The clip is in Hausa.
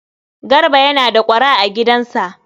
Garba yana da ƙwara a gidansa.